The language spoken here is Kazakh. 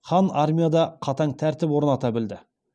хан армияда қатаң тәртіп орната білді